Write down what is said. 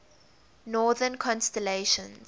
northern constellations